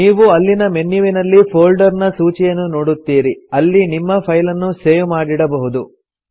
ನೀವು ಅಲ್ಲಿನ ಮೆನ್ಯುವಿನಲ್ಲಿ ಫೊಲ್ಡರ್ ನ ಸೂಚಿಯನ್ನು ನೋಡುತ್ತೀರಿ ಅಲ್ಲಿ ನಿಮ್ಮ ಫೈಲನ್ನು ಸೇವ್ ಮಾಡಿಡಬಹುದು